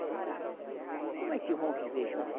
Como é que vão viver junto?